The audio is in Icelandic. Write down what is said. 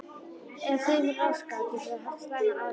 Ef þeim er raskað getur það haft slæmar afleiðingar.